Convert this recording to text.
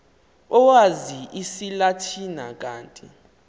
owazi isilatina kanti